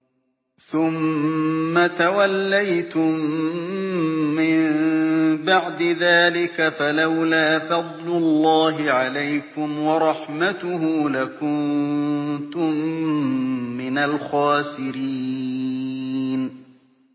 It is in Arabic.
ثُمَّ تَوَلَّيْتُم مِّن بَعْدِ ذَٰلِكَ ۖ فَلَوْلَا فَضْلُ اللَّهِ عَلَيْكُمْ وَرَحْمَتُهُ لَكُنتُم مِّنَ الْخَاسِرِينَ